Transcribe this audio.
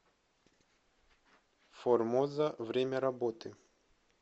формоза время работы